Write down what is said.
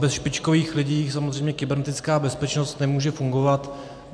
Bez špičkových lidí samozřejmě kybernetická bezpečnost nemůže fungovat.